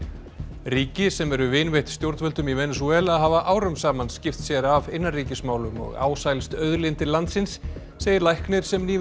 ríki sem eru vinveitt stjórnvöldum í Venesúela hafa árum saman skipt sér af innanríkismálum og ásælst auðlindir landsins segir læknir sem nýverið